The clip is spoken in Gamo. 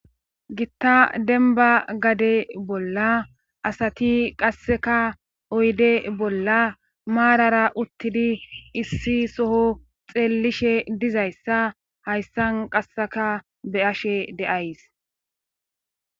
gitta denba gade bolla asati qasseka oyde bolla maarara uttidi issi soho xeellishe dizayssa hayssan qasseka be ashe deays